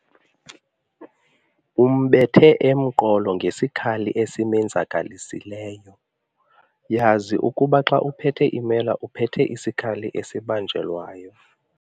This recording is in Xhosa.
Umbethe emqolo ngesikhali esimenzakalisileyo. yazi ukuba xa uphethe imela uphethe isikhali esibanjelwayo